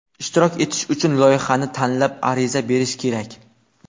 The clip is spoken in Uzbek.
Ishtirok etish uchun loyihani tanlab, ariza berish kerak.